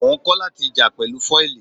Mò ń kọ́ láti jà pẹ̀lú fọ́ìlì.